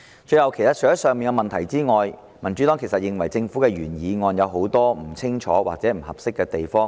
最後，除了上述的問題外，民主黨認為《條例草案》有很多不清楚或不合適的地方。